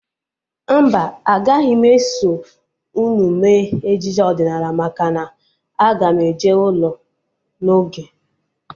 Mba, agaghị m eso unu mee ejije ọdịnala maka na aga m eje ụlọ n'oge